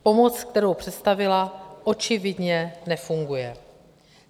Pomoc, kterou představila, očividně nefunguje.